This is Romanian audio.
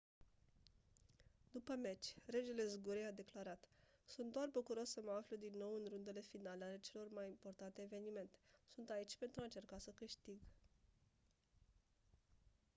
după meci regele zgurei a declarat «sunt doar bucuros să mă aflu din nou în rundele finale ale celor mai importante evenimente. sunt aici pentru a încerca să câștig.».